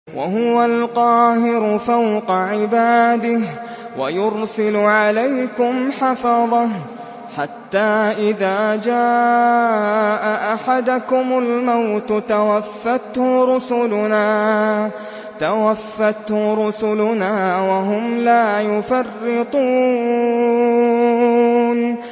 وَهُوَ الْقَاهِرُ فَوْقَ عِبَادِهِ ۖ وَيُرْسِلُ عَلَيْكُمْ حَفَظَةً حَتَّىٰ إِذَا جَاءَ أَحَدَكُمُ الْمَوْتُ تَوَفَّتْهُ رُسُلُنَا وَهُمْ لَا يُفَرِّطُونَ